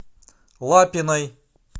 лапиной